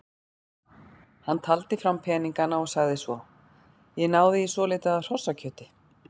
Hann taldi fram peningana og sagði svo: Ég náði í svolítið af hrossakjöti.